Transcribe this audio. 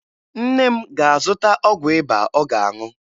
Nne m na-azụta ọgwụ ịba ọ ga-aṅụ